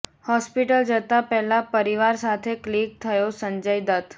hospital જતા પહેલા પરિવાર સાથે ક્લિક થયો સંજય દત્ત